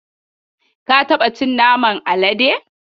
Ka taba cin naman Alade?